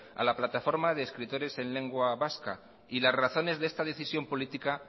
a la plataforma de escritores en lengua vasca y las razones de esta decisión política